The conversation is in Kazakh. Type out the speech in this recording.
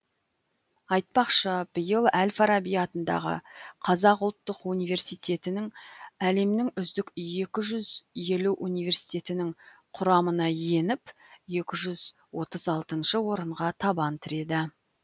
айтпақшы биыл әл фараби атындағы қазұу әлемнің үздік екі жүз елу университетінің құрамына еніп екі жүз отыз алты орынға табан тіреді